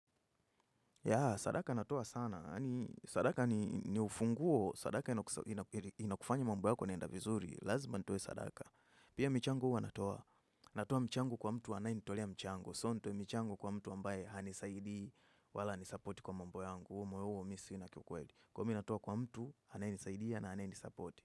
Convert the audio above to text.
Yeah sadaka natoa sana, sadaka ni ufunguo, sadaka inakufanya mambo yako inaenda vizuri, lazima nitoe sadaka. Pia michango huwa natoa, natoa mchango kwa mtu anayenitolea mchango, sio nitoe michango kwa mtu ambaye hanisaidii wala hanisupport kwa mambo yangu, huo moyo huo mi sina kiukweli. Kwa hivo mi natoa kwa mtu, anayenisaidia na anayenisapoti.